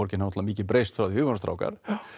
náttúrulega mikið breyst frá því við vorum strákar